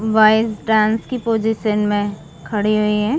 Voice dance के position में खड़े हुए है।